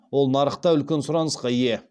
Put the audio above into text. ол нарықта үлкен сұранысқа ие